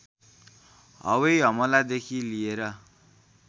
हवाई हमलादेखि लिएर